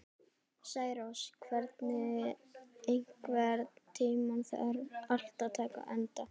Særós, einhvern tímann þarf allt að taka enda.